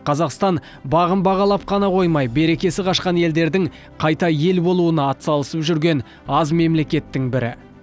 қазақстан бағын бағалап қана қоймай берекесі қашқан елдердің қайта ел болуына атсалысып жүрген аз мемлекеттің бірі